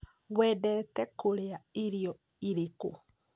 Wendete kũrĩa irio irĩkũ?